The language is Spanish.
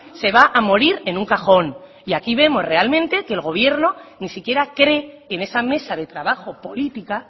se va a morir en un cajón y aquí vemos realmente que el gobierno ni siquiera cree en esa mesa de trabajo política